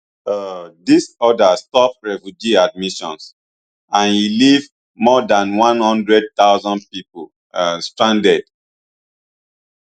um dis order stop refugee admissions and e leave more dan one hundred thousand pipo um stranded